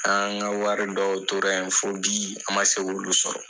An ka wari dɔw tora yen fo bi an ma se k'olu sɔrɔ